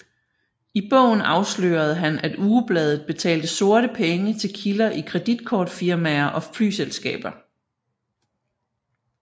I bogen afslørede han at ugebladet betalte sorte penge til kilder i kreditkortfirmaer og flyselskaber